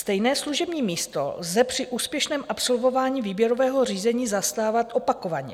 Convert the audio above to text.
Stejné služební místo lze při úspěšném absolvování výběrového řízení zastávat opakovaně.